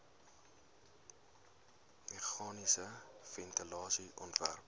meganiese ventilasie ontwerp